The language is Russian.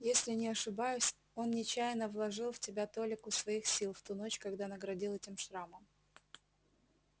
если не ошибаюсь он нечаянно вложил в тебя толику своих сил в ту ночь когда наградил этим шрамом